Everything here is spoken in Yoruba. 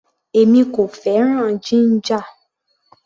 Èmi kò fẹ́ràn jíńjà.